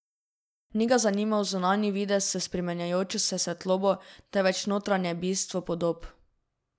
Ni ga zanimal zunanji videz s spreminjajočo se svetlobo, temveč notranje bistvo podob.